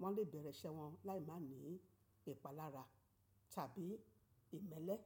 won le bere ise won lai ma ni ipalara tabi imele.